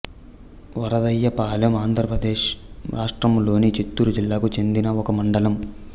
వరదయ్యపాలెం ఆంధ్ర ప్రదేశ్ రాష్ట్రములోని చిత్తూరు జిల్లాకు చెందిన ఒక మండలం